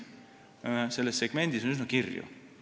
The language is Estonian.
Selles segmendis on pilt üsna kirju.